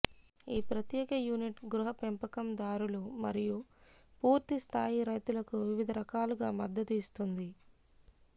ఈ ప్రత్యేక యూనిట్ గృహ పెంపకందారులు మరియు పూర్తి స్థాయి రైతులకు వివిధ రకాలుగా మద్దతు ఇస్తుంది